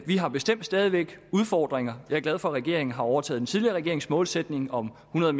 vi har bestemt stadig væk udfordringer jeg er glad for at regeringen har overtaget den tidligere regerings målsætning om hundrede